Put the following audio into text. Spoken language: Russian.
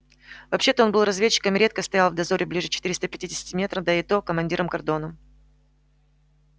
вообще-то он был разведчиком и редко стоял в дозоре ближе четыреста пятидесятого метра да и то командиром кордона